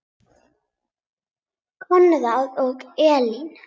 Konráð og Elín.